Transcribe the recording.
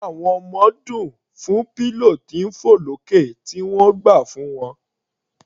Inú àwọn ọmọ dùn fún pillow tí ń fọ̀ lókè tí o gbà fún wọn.